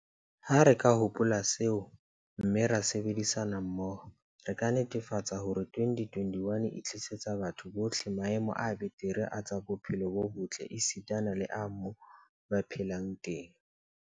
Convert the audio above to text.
Ha re ka hopola seo, mme ra sebedisana mmoho, re ka netefatsa hore 2021 e tlisetsa batho bohle maemo a betere a tsa bophelo bo botle esitana le a moo ba phelang teng.